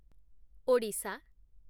Odisha